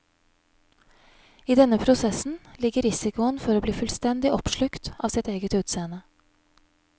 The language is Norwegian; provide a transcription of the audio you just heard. I denne prosessen ligger risikoen for å bli fullstendig oppslukt av sitt eget utseende.